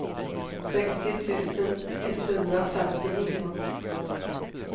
sextio tusen etthundrafemtionio